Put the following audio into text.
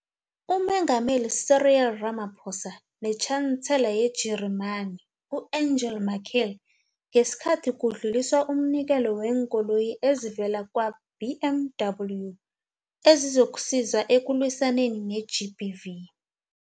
UMengameli Cyril Ramaphosa neTjhansela yeJarimani u-Angela Merkel ngesikhathi kudluliswa umnikelo weenkoloyi ezivela kwa-BMW ezizokusiza ekulwisaneni ne-GBV.